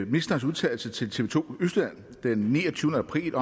ministerens udtalelse til tv to østjylland den niogtyvende april